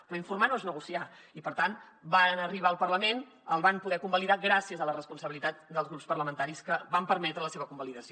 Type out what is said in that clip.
però informar no és negociar i per tant varen arribar al parlament el van poder convalidar gràcies a la responsabilitat dels grups parlamentaris que van permetre la seva convalidació